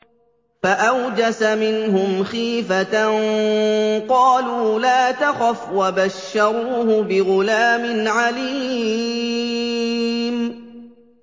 فَأَوْجَسَ مِنْهُمْ خِيفَةً ۖ قَالُوا لَا تَخَفْ ۖ وَبَشَّرُوهُ بِغُلَامٍ عَلِيمٍ